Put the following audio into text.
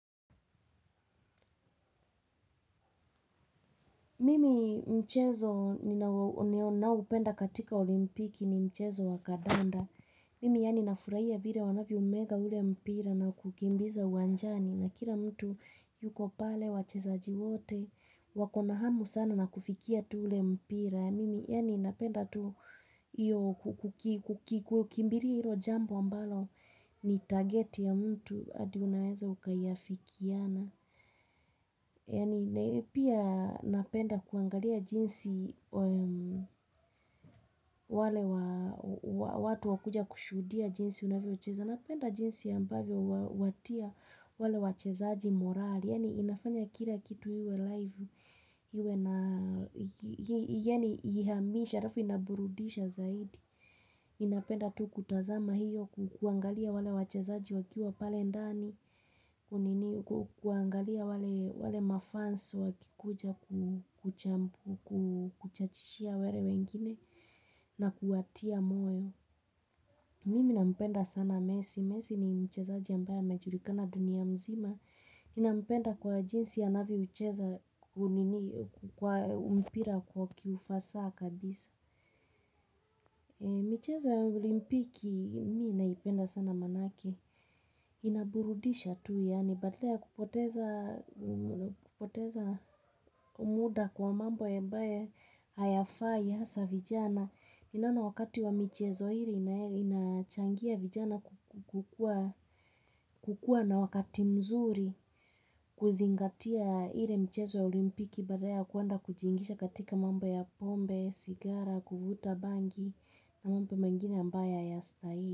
Mimi mchezo na upenda katika olimpiki ni mchezo wakadanda. Mimi yani na furaia vire wanavyo umega ule mpira na kukimbiza wanjani. Na kila mtu yuko pale, wachesaji wote, wakona hamu sana na kufikia tu ule mpira. Mimi yani napenda tu kukimbiria ilo jambo ambalo ni target ya mtu adiunaweza ukayafikiana. Yani pia napenda kuangalia jinsi wale watu wakuja kushudia jinsi unavyo cheza Napenda jinsi ambavyo watia wale wachezaji morali Yani inafanya kila kitu hiwe live hiwe na hihamisha rafu inaburudisha zaidi Inapenda tu kutazama hiyo kuangalia wale wachezaji wakiwa pale ndani kunini kuangalia wale mafans wakikuja kuchampu, kuchachishia wele wengine na kuatia moyo. Mimi na mpenda sana messi. Messi ni mcheza ambaye amejulikana dunia mzima. Ni na mpenda kwa jinsi ananyo cheza mpira kwa kiufasa kabisa. Micheza ya olimpiki, mi naipenda sana manake. Inaburudisha tu yani badaya kupoteza umuda kwa mambo ya mbae hayafai hasa vijana Inana wakati wa michezo hiri inachangia vijana kukua na wakati mzuri kuzingatia ile michezo ya olimpiki badaya kuanda kujingisha katika mambo ya pombe, sigara, kubuta bangi na mambo ya ambae aya stahili.